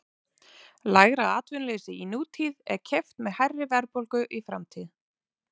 lægra atvinnuleysi í nútíð er keypt með hærri verðbólgu í framtíð